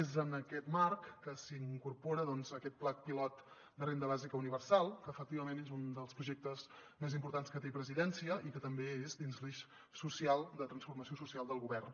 és en aquest marc que s’incorpora doncs aquest pla pilot de renda bàsica universal que efectivament és un dels projectes més importants que té presidència i que també és dins l’eix social de transformació social del govern